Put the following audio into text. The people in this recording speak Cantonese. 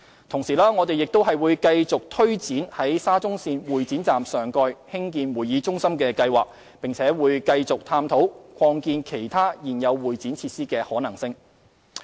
同時，我們會繼續推展在沙中線會展站上蓋興建會議中心的計劃，並會繼續探討擴建其他現有會展設施的可能性。